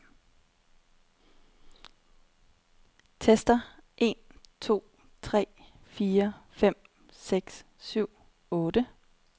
Tester en to tre fire fem seks syv otte.